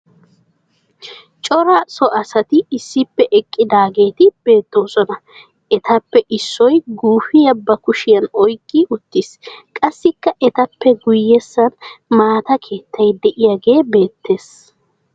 Cora so asati issippe eqqidaageeti beettoosona. Etappe issoy guufiya ba kushiyan oyikki uttis. Qassikka etappe guyyessan maata keettay diyage beettes.